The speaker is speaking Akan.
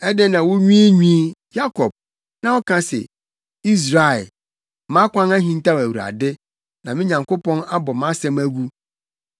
Adɛn na wunwiinwii, Yakob, na woka se, Israel, “Mʼakwan ahintaw Awurade; na me Nyankopɔn abɔ mʼasɛm agu”?